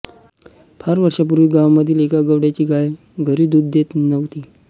फार वर्षांपूर्वी गावामधील एका गवळ्याची गाय घरी दूध देत नव्हती